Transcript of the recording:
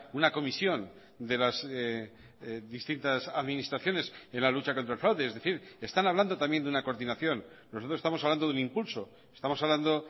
una comisión de las distintas administraciones en la lucha contra el fraude es decir están hablando también de una coordinación nosotros estamos hablando de un impulso estamos hablando